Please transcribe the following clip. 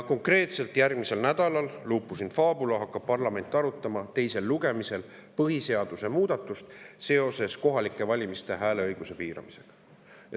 Konkreetselt järgmisel nädalal hakkab parlament – lupus in fabula – teisel lugemisel arutama põhiseaduse muutmist seoses kohalikel valimistel hääleõiguse piiramisega.